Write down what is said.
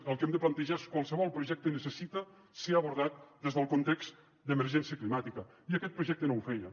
el que hem de plantejar és qualsevol projecte necessita ser abordat des del context d’emergència climàtica i aquest projecte no ho feia